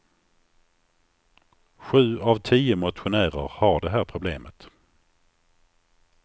Sju av tio motionärer har det här problemet.